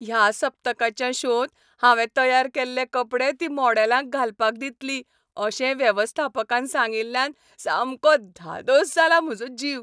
ह्या सप्तकाच्या शोंत हांवें तयार केल्ले कपडे ती मॉडेलांक घालपाक दितली अशें वेवस्थापकान सांगिल्ल्यान सामको धादोस जाला म्हजो जीव.